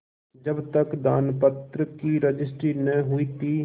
जब तक दानपत्र की रजिस्ट्री न हुई थी